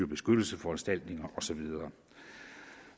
beskyttelsesforanstaltninger og så videre